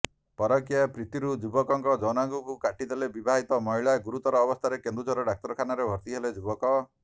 ପରକୀୟା ପ୍ରୀତିରୁ ଯୁବକଙ୍କ ଯୌନାଙ୍ଗକୁ କାଟିଦେଲେ ବିବାହିତ ମହିଳା ଗୁରତର ଅବସ୍ଥାରେ କେନ୍ଦୁଝର ଡାକ୍ତରଖାନାରେ ଭର୍ତି ହେଲେ ଯୁବକ